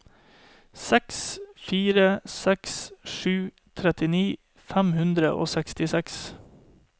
seks fire seks sju trettini fem hundre og sekstiseks